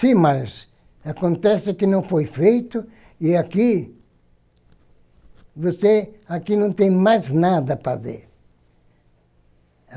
Sim, mas acontece que não foi feito e aqui, você, aqui não tem mais para ver.